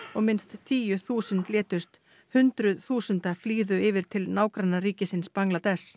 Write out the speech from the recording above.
minnst tíu þúsund létust hundrað þúsund flýðu yfir til nágrannaríkisins Bangladess